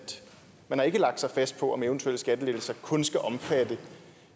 man ikke har lagt sig fast på om eventuelle skattelettelser kun skal omfatte